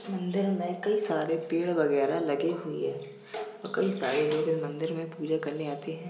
मंदिर में कई सारे पेड़ वगेरा लगे हुए है और कई सारे लोग इस मंदिर मे पूजा करने आते हैं।